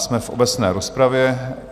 Jsme v obecné rozpravě.